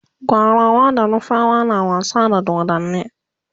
gwarawa da nufawa na wasa da dodanni